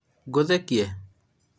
ngũthekie?